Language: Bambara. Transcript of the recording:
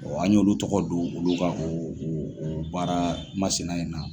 an y'olu tɔgɔ don olu ka o o o baara masina in na.